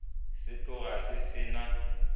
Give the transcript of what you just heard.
se tloga se se na